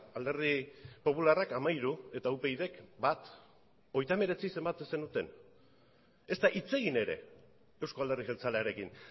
alderdi popularrak hamairu eta upydk bat hogeita hemeretzi zenbatzen zenuten ezta hitz egin ere euzko alderdi jeltzalearekin